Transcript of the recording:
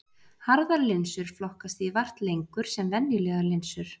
Harðar linsur flokkast því vart lengur sem venjulegar linsur.